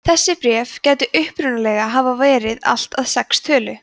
þessi bréf gætu upprunalega hafa verið allt að sex að tölu